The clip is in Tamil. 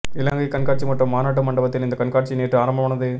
இலங்கை கண்காட்சி மற்றும் மாநாட்டு மண்டபத்தில் இந்தக் கண்காட்சி நேற்று ஆரம்பமானது